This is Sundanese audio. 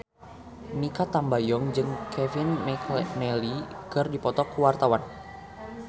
Mikha Tambayong jeung Kevin McNally keur dipoto ku wartawan